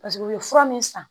u ye fura min san